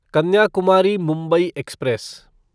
Kanyakumari Mumbai express